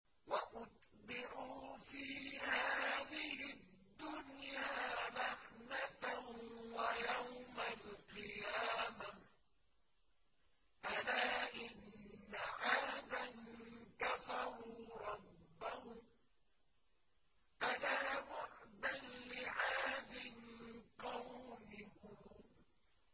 وَأُتْبِعُوا فِي هَٰذِهِ الدُّنْيَا لَعْنَةً وَيَوْمَ الْقِيَامَةِ ۗ أَلَا إِنَّ عَادًا كَفَرُوا رَبَّهُمْ ۗ أَلَا بُعْدًا لِّعَادٍ قَوْمِ هُودٍ